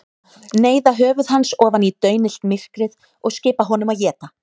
Neyða höfuð hans ofan í daunillt myrkrið og skipa honum að éta.